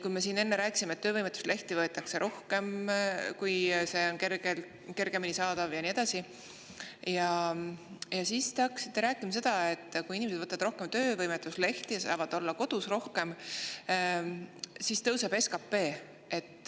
Kui me siin enne rääkisime, et töövõimetuslehti võetakse rohkem, kui neid kergemini saab ja nii edasi, siis te hakkasite rääkima, et kui inimesed võtavad rohkem töövõimetuslehti ja saavad olla rohkem kodus, siis tõuseb SKP.